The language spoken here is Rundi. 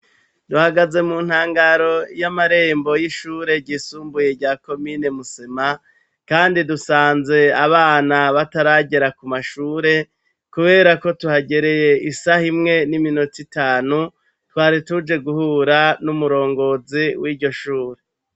Duhagaze mu ntangaro y'amarembo y'ishure gisumbuye ryakomine musema, kandi dusanze abana bataragera ku mashure, kubera ko tuhagereye isaho imwe n'iminota itanu twari tuje guhura n'umurongozi w'iryo shure.